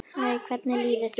Hæ, hvernig líður þér?